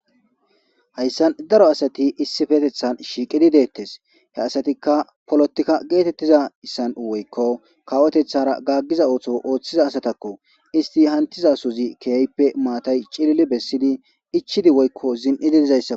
hayssan daro asati issifetethan shiiqidi deettes he asatikka polotikka geetettiza issan7 woykko kawotethara gaggiza ootho ooththiza asatakko isti hantiza suzi keyaype maatay cilili bessidi ichidi woykko zin7i didizayssa